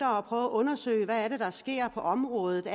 har prøvet at undersøge hvad der sker på området